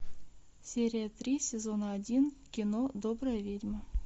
серия три сезона один кино добрая ведьма